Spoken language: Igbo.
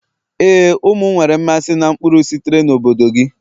éè, ụmụ m nwere mmasị na mkpụrụ sitere na obodo gị.